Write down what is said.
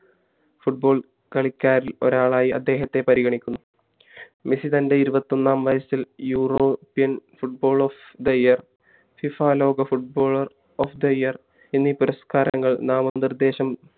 football കളിക്കാരിൽ ഒരാളായി അദ്ദേഹത്തെ പരിഗണിക്കുന്നു മെസ്സി തൻ്റെ ഉരുവത്തി ഒന്നാം വയസ്സിൽ european football of the year FIFA ലോക footballer of the year എന്നീ പുരസ്കാരങ്ങൾ നാമനിർദ്ദേശം